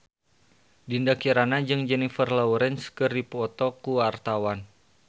Dinda Kirana jeung Jennifer Lawrence keur dipoto ku wartawan